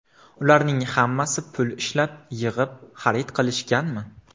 Ularning hammasi pul ishlab, yig‘ib, xarid qilishganmi?